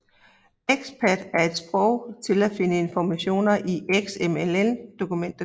XPath er et sprog til at finde information i et XML dokument